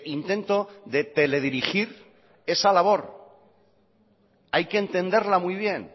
intento de teledirigir esa labor hay que entenderla muy bien